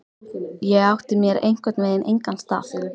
Ég átti mér einhvern veginn engan stað.